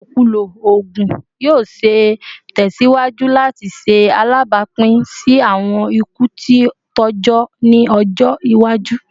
Ilokulo oogun yoo ṣee tẹsiwaju lati ṣe alabapin si awọn iku ti tọjọ ni ọjọ iwaju